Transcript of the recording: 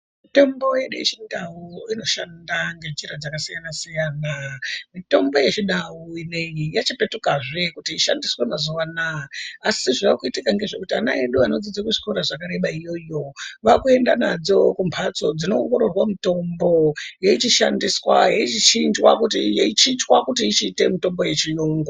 Tombo yedu yechindau inoshanda ngenzira dzakasiyana siyanamitomboyi yechindaubinei yechipetukazve kuti ishandiswe mazuwa anaa asi zvaakuitika ngezvekuti ana edu anodzidza kuzvikora zvakareba youo vakuenda nadzo kumhatso dzino ongororwa mutombo yeichishandiswa yeichinjwa kuti ivhiite mitombo yechiyungu.